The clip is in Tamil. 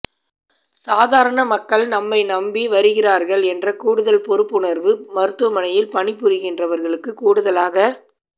சாதாரண மக்கள் நம்மை நம்பி வருகிறார்கள் என்ற கூடுதல் பொறுப்புணர்வு மருத்துவமனையில் பணிபுரிகிறவர்களுக்குக் கூடுதலாக